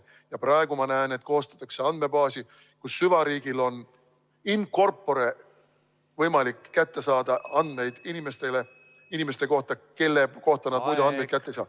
Ja praegu ma näen, et koostatakse andmebaasi, kus süvariigil on in corpore võimalik kätte saada andmeid inimeste kohta, kelle kohta nad muidu andmeid kätte ei saa.